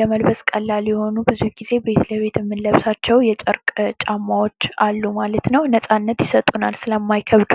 ለመልበስ ቀላል የሆኑ ብዙውን ጊዜ ቤት ለቤት የምንለብሳቸው የጨርቅ ጫማዎች አሉ ማለት ነው። ነጻነት ይሰጡናል ስለማይከብዱ።